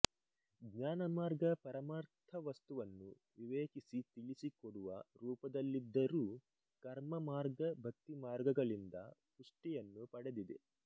ಜ್ಞಾನಮಾರ್ಗ ಪರಮಾರ್ಥವಸ್ತುವನ್ನು ವಿವೇಚಿಸಿ ತಿಳಿಸಿಕೊಡುವ ರೂಪದಲ್ಲಿದ್ದರೂ ಕರ್ಮಮಾರ್ಗ ಭಕ್ತಿಮಾರ್ಗಗಳಿಂದ ಪುಷ್ಟಿಯನ್ನು ಪಡೆದಿದೆ